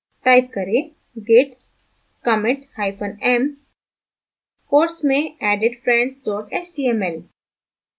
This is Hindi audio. type करें git commit hyphen m quotes में added friends html